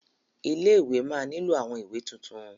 Ilé-ìwé máa nílò àwọn ìwé tuntun.